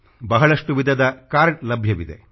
ಬಹಳಷ್ಟು ವಿಧದ ಕಾರ್ಡ್ ಲಭ್ಯವಿವೆ